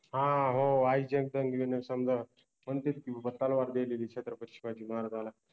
हा हो आई जगदम्बे न समजा मनतेत कि बाबा तलवार देलेलि छत्रपति शिवाजि महाराजाला